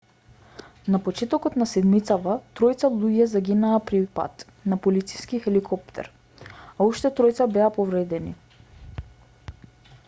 на почетокот на седмицава тројца луѓе загинаа при пад на полициски хеликоптер а уште тројца беа повредени